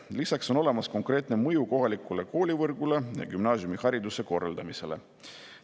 Lisaks on olemas konkreetne mõju kohalikule koolivõrgule ja gümnaasiumihariduse korraldamisele.